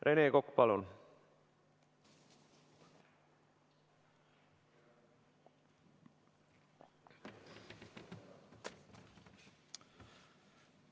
Rene Kokk, palun!